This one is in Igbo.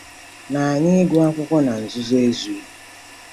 Na anyị ịgụ akwụkwọ na nzuzo ezughị.